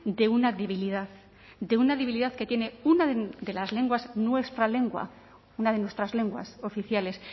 de una debilidad de una debilidad que tiene una de las lenguas nuestra lengua una de nuestras lenguas oficiales